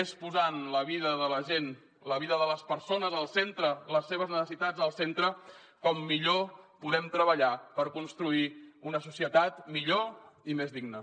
és posant la vida de la gent la vida de les persones al centre les seves necessitats al centre com millor podem treballar per construir una societat millor i més digna